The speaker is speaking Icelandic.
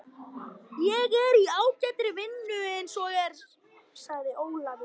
Ég er í ágætri vinnu eins og er, sagði Ólafur.